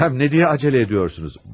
Həm nə diyə tələ ediyorsunuz?